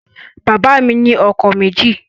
Bàbá mi ni ọkọ̀ méjì